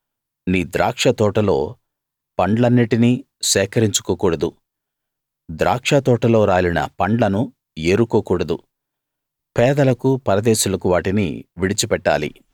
నీ ద్రాక్ష తోటలో పండ్లన్నిటినీ సేకరించుకో కూడదు ద్రాక్ష తోటలో రాలిన పండ్లను ఏరుకోకూడదు పేదలకు పరదేశులకు వాటిని విడిచిపెట్టాలి